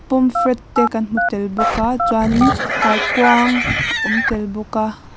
pum fret te kan hmu tel bawk a chuanin kaikuang a awm tel bawk a.